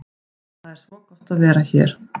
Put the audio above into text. Það er svo gott að vera hér.